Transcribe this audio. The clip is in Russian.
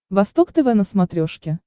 восток тв на смотрешке